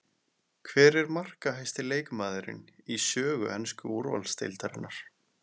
Hver er markahæsti leikmaðurinn í sögu ensku úrvalsdeildarinnar?